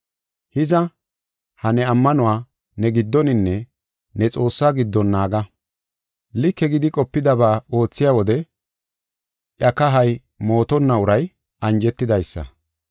Hiza, ha ne ammanuwa ne giddoninne ne Xoossaa giddon naaga. Like gidi qopidaba oothiya wode iya kahay mootonna uray anjetidaysa.